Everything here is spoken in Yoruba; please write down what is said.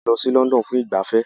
A lọ sí London fún ìgbafẹ́